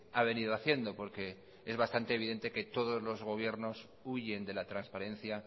ha venido haciendo porque es bastante evidente que todos los gobiernos huyen de la transparencia